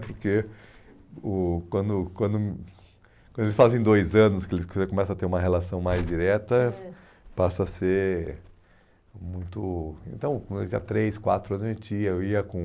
Porque o quando quando quando eles fazem dois anos, que eles começam a ter uma relação mais direta, é, passa a ser muito... Então, quando ele tinha três, quatro anos, a gente ia, eu ia com...